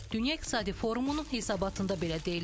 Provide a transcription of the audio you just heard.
Dünya İqtisadi Forumunun hesabatında belə deyilir.